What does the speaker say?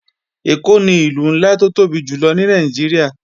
Èkó ni Ìlú ńlá tó tóbi jùlọ ní Nàìjíríà